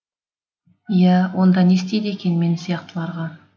иә онда не істейді екен мен сияқтыларға